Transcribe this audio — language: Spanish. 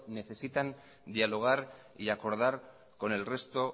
necesitan dialogar y acordar con el resto